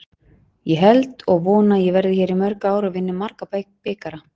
Ég held og vona að ég verði hér í mörg ár og vinni marga bikara.